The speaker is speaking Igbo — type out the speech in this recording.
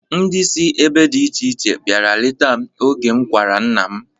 Ndị si ebe dị iche iche biara leta m oge m kwara nna m.